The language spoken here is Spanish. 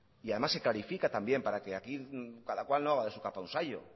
y además se clarifica también para que aquí cada cual no haga de su capa un sayo